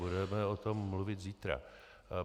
Budeme o tom mluvit zítra.